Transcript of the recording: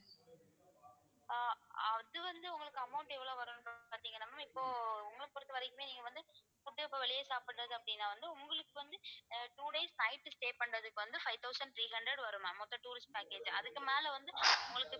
ஆஹ் அது வந்து உங்களுக்கு amount எவ்ளோ வரும்ன்னு பாத்தீங்கன்னா ma'am இப்போ உங்களை பொறுத்தவரைக்குமே நீங்க வந்து food இப்ப வெளிய சாப்பிடுறது அப்படின்னா வந்து உங்களுக்கு வந்து அஹ் two days night stay பண்றதுக்கு வந்து five thousand three hundred வரும் மொத்தம் tourist package அதுக்கு மேல வந்து உங்களுக்கு